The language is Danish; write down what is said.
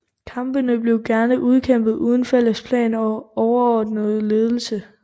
Kampene blev gerne udkæmpet uden fælles plan og overordnet ledelse